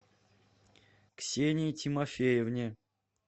ксении тимофеевне